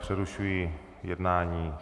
Přerušuji jednání.